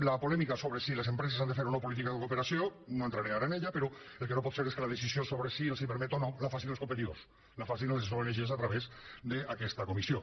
la polèmica sobre si les empreses han de fer o no política de cooperació no hi entraré ara però el que no pot ser és que la decisió sobre si se’ls permet o no la facin els competidors la facin les ong a través d’aquesta comissió